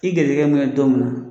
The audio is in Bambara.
K'i gɛrisigɛ mɛnɛ don min na